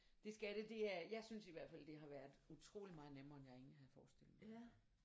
Det skal det det er jeg synes i hvert fald det har været utroligt meget nemmere end jeg egentligt havde forestillet mig